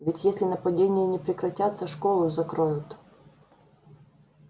ведь если нападения не прекратятся школу закроют